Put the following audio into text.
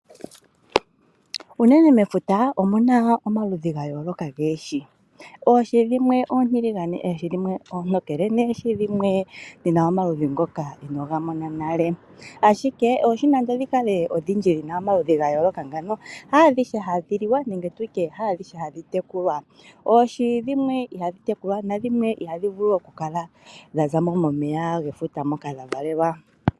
Unene mefuta, omuna omaludhi gayooloka goohi. Oohi dhimwe oontiligane, na dhimwe oontokele, nadhimwe odhina omaludhi ngoka inoogamona nale. Ashike oohi nenge odhikale odhindji dhina omaludhi ga yooloka ngawo, haadhihe hadhiliwa, nenge tu tye haadhihe hadhi tekulwa. Oohi dhimwe ihadhi tekulwa, nadhimwe iha dhi vulu oku kuthwamo mefuta moka dhavalelwa.